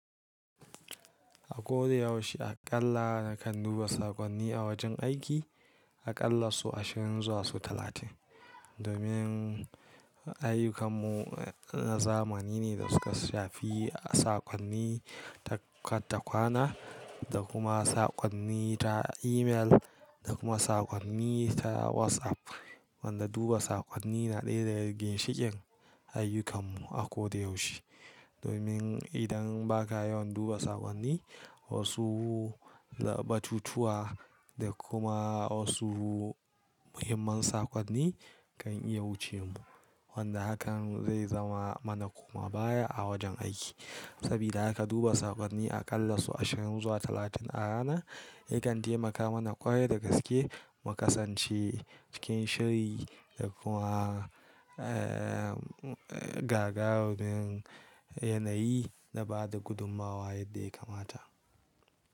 Ako da yaushe aƙalla nakan duba saƙonni a wajan aiki, aƙalla sau ashirin zuwa sau talatin domin aiyukanmu na zamani ne da suka shafi saƙonni ta kwana da kuma saƙonni ta email da kuma saƙonni ta WhatsApp. Wanda duba saƙonni na ɗaya daga ginshiikin aiyukan mu a kodayaushe. Domin idan ba ka yawan duba saƙonni, wasu batutuwa da kuma wasu muhimman saƙonni kan iya wuce mu. Wanda hakan zai zama mana komabaya a wajen aiki. Sabida haka duba saƙonni aƙalla su ashirin zuwa talatin a rana yakan taimaka mana ƙware da gaske mu ƙasance cikin shiri da kuma gagarumin yanayi da bada gudummawa yadda ya kamata.